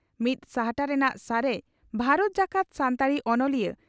ᱢᱤᱫ ᱥᱟᱦᱴᱟ ᱨᱮᱱᱟᱜ ᱥᱟᱨᱮᱡ ᱵᱷᱟᱨᱚᱛ ᱡᱟᱠᱟᱛ ᱥᱟᱱᱛᱟᱲᱤ ᱚᱱᱚᱞᱤᱭᱟᱹ